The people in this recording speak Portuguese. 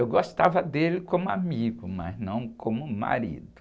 Eu gostava dele como amigo, mas não como marido.